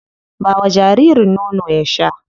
Ba wa jaririn nono ya sha.